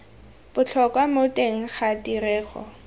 botlhokwa mo teng ga tirego